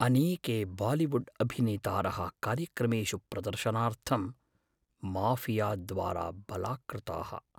अनेके बालिवुड्अभिनेतारः कार्यक्रमेषु प्रदर्शनार्थं माऴियाद्वारा बलात्कृताः।